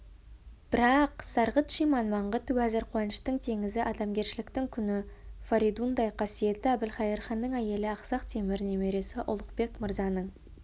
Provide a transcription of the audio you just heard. бірақ сарғыт-шиман маңғыт уәзір қуаныштың теңізі адамгершіліктің күні фаридундай қасиетті әбілқайыр ханның әйелі ақсақ темір немересі ұлықбек мырзаның